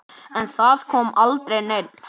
En það kom aldrei neinn.